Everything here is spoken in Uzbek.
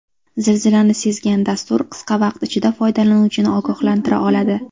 Zilzilani sezgan dastur qisqa vaqt ichida foydalanuvchini ogohlantira oladi.